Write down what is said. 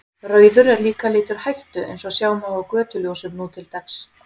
Rauður er líka litur hættu eins og sjá má á götuljósum nú til dags.